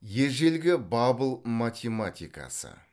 ежелгі бабыл математикасы